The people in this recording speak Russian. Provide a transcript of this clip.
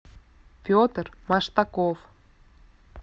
петр маштаков